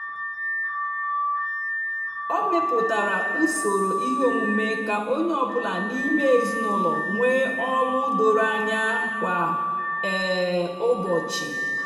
o mepụtara usoro ihe omume ka onye ọ bụla n'ime ezinụlọ nwee ọlụ doro anya kwa um ụbọchị.